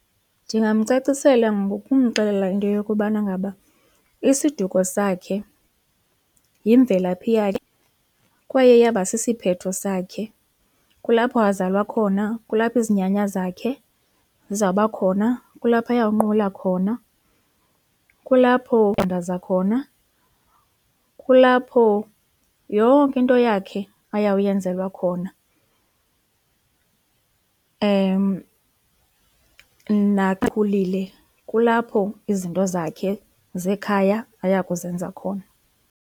Ndingamcacisela ngokumxelela into yokubana ngaba isiduko sakhe yimvelaphi yakhe kwaye iyaba sisiphetho sakhe kulapho azalwa khona, kulapho izinyanya zakhe zizawuba khona kulapho ayawunqula khona, kulapho athandaza khona, kulapho yonke into yakhe ayawuyenzelwa khona na ekhulile kulapho izinto zakhe zekhaya ayakuzenza khona.